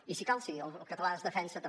i si cal sí el català es defensa també